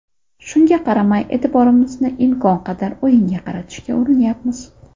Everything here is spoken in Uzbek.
Shunga qaramay, e’tiborimizni imkon qadar o‘yinga qaratishga urinyapmiz.